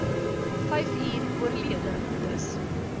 vyfuur oorlede dis